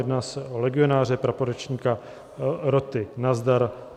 Jedná se o legionáře, praporečníka roty Nazdar.